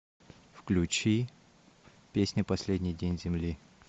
включи песня последний день земли